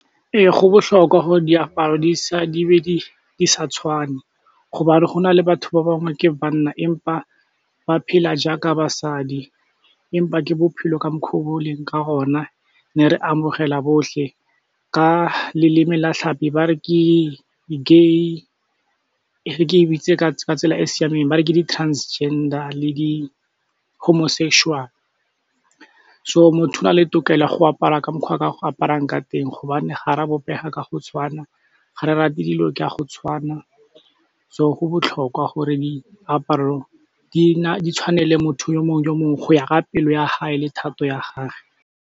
Ee go botlhokwa gore diaparo di sa tshwane hobane go na le batho ba bangwe ke banna empa ba phela jaaka basadi empa ke bophelo ka mokgo bo o leng ka gona mme re amogela botlhe ka leleme la tlhapi ba re ke, ke, e re ke e bitse ka tsela e siameng ba re ke di-transgender le di-homosexual, so motho o na le tokelo ya go apara ka mokgwa a ka go aparang ka teng hobane ga ra bopega ka go tshwana, ga re rate dilo ke a go tshwana, so go botlhokwa gore diaparo di tshwanele motho yo mongwe yo mongwe go ya ka pelo ya gae le thato ya gage.